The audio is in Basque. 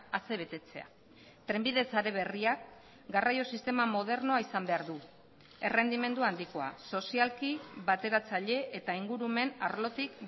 asebetetzea trenbide sare berriak garraio sistema modernoa izan behar du errendimendu handikoa sozialki bateratzaile eta ingurumen arlotik